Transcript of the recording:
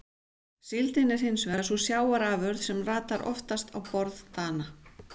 Síldin er hins vegar sú sjávarafurð sem ratar oftast á borð Dana.